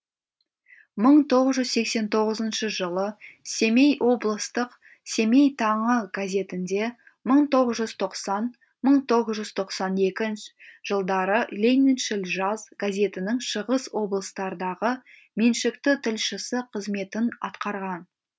мың тоғыз жүз сексен тоғызыншы жылы семей облыстық семей таңы газетінде мың тоғыз жүз тоқсан мың тоғыз жүз тоқсан екі жылдары лениншіл жас газетінің шығыс облыстардағы меншікті тілшісі қызметін атқарған